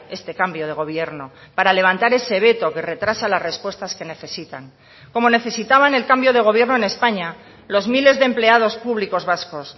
este cambio de gobierno para levantar ese veto que retrasa las respuestas que necesitan como necesitaban el cambio de gobierno en españa los miles de empleados públicos vascos